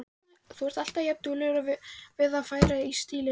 Þú ert alltaf jafnduglegur við að færa í stílinn.